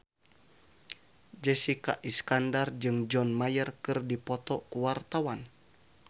Jessica Iskandar jeung John Mayer keur dipoto ku wartawan